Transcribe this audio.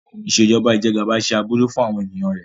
Ìṣèjọba Ìjẹgàba ṣe aburú fún àwọn ènìyàn rẹ.